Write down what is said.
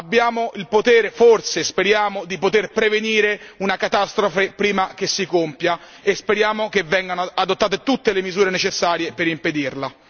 Abbiamo il potere, forse, speriamo di poter prevenire una catastrofe prima che si compia e speriamo che vengano adottate tutte le misure necessarie per impedirla.